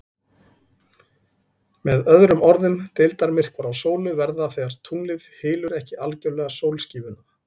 Með öðrum orðum, deildarmyrkvar á sólu verða þegar tunglið hylur ekki algjörlega sólskífuna.